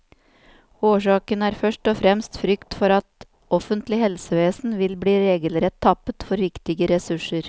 Årsaken er først og fremst frykt for at offentlig helsevesen vil bli regelrett tappet for viktige ressurser.